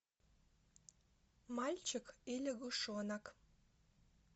мальчик и лягушонок